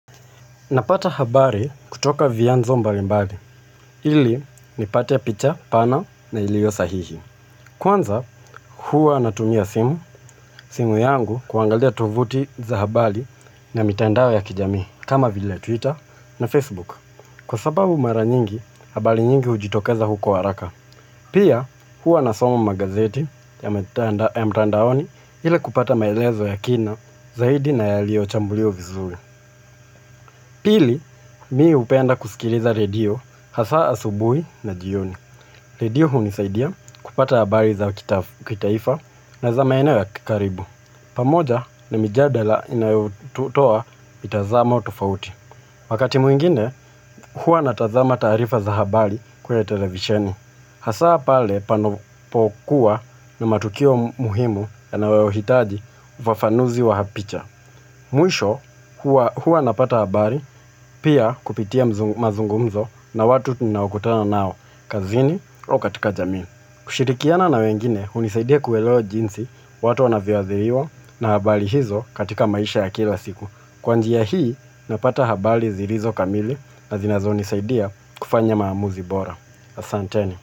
Napata habari kutoka vianzo mbalimbali, ili nipate picha pana na ilio sahihi. Kwanza huwa natumia simu, simu yangu kuangalia tuvuti za habari na mitandao ya kijamii, kama vile Twitter na Facebook. Kwa sababu mara nyingi habari nyingi ujitokeza huko haraka pia huwa nasoma magazeti ya mtandaoni ili kupata maelezo ya kina zaidi na yaliochambuliwa vizuri. Pili, mimi upenda kusikiliza redio hasa asubuhi na jioni. Redio unisaidia kupata habari za kitaifa na za maeneo ya kikaribu. Pamoja ni mijadala inayotoa mitazamo tofauti. Wakati mwingine, huwa natazama taarifa za habari kwenye televisheni. Hasa pale panapokuwa na matukio muhimu yanayoitaji ufafanuzi wa picha. Mwisho huwa napata habari pia kupitia mazungumzo na watu ninaokutana nao kazini au katika jaminu. Kushirikiana na wengine unisaidia kuelewa jinsi watu wanavyoadhiriwa na habari hizo katika maisha ya kila siku. Kwa njia hii napata habari zilizo kamili na zinazonisaidia kufanya maamuzi bora. Asanteni.